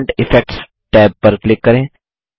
font effects tab पर click करें